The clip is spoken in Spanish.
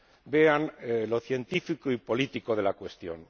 Vean lo científico y político de la cuestión.